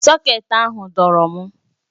Sọkét ahụ dọọrọ m